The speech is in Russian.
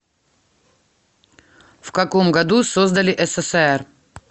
в каком году создали ссср